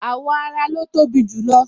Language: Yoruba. Awọ ara lo tobi jù lo